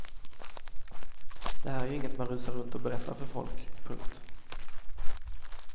Det här är ju inget man rusar runt och berättar för folk. punkt